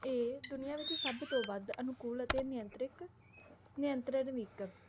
ਇਹ ਦੁਨੀਆਂ ਵਿਚ ਸਬਤੋਂ ਵੱਧ ਅਨੁਕੂਲ ਅਤੇ ਨਿਯੰਤ੍ਰਿਕ ਨਿਯੰਤਰਦ